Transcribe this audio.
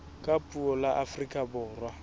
ka puo la afrika borwa